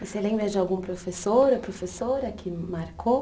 Você lembra de algum professor ou professora que marcou?